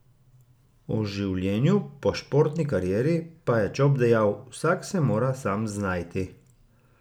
O življenju po športni karieri pa je Čop dejal: "Vsak se mora sam znajti.